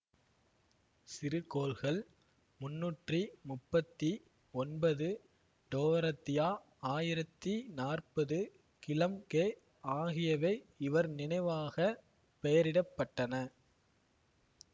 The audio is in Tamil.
சிறுகோள்கள் முன்னூற்றி முப்பத்தி ஒன்பது டோரத்தியா ஆயிரத்தி நாற்பது கிளம்ப்கே ஆகியவை இவர் நினைவாகப் பெயரிடப்பட்டன